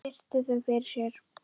Virti þau fyrir sér.